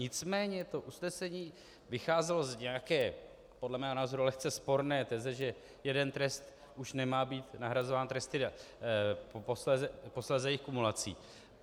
Nicméně to usnesení vycházelo z nějaké podle mého názoru lehce sporné teze, že jeden trest už nemá být nahrazován tresty, posléze jejich kumulací.